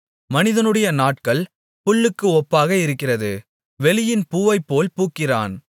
மனிதனுடைய நாட்கள் புல்லுக்கு ஒப்பாக இருக்கிறது வெளியின் பூவைப்போல் பூக்கிறான்